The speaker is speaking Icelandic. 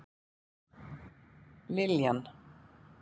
Liljan